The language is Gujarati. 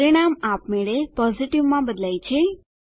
પરિણામ આપમેળે પોઝિટિવ માં બદલાય છે